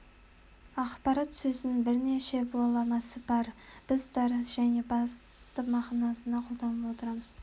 ақпарат сөзінің бірнеше баламасы бар біз тар және нақты мағынасында қолданып отырмыз